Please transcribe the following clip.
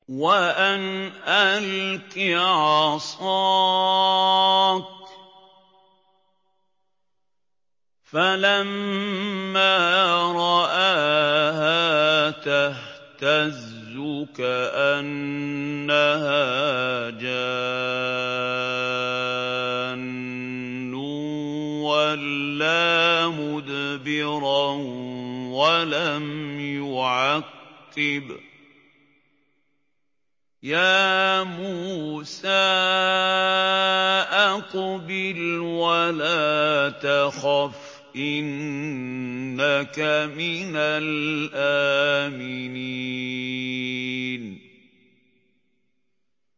وَأَنْ أَلْقِ عَصَاكَ ۖ فَلَمَّا رَآهَا تَهْتَزُّ كَأَنَّهَا جَانٌّ وَلَّىٰ مُدْبِرًا وَلَمْ يُعَقِّبْ ۚ يَا مُوسَىٰ أَقْبِلْ وَلَا تَخَفْ ۖ إِنَّكَ مِنَ الْآمِنِينَ